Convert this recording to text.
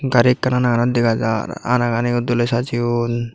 gari ekkan ana ganot dega jaar ana ganiyo doley sajeyun.